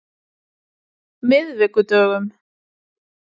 miðvikudögunum